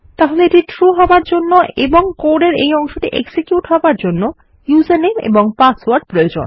তাহলে এটি ট্রু হবার জন্য এবং কোড এর এই অংশটি এক্সিকিউট হবার জন্য ইউজারনেম এবং পাসওয়ার্ড প্রয়োজন